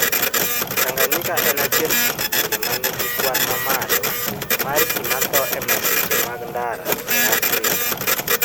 Tanganyika en achiel kuom pinje ma nigi kwan mamalo mar ji matho e masiche mag ndara e Afrika.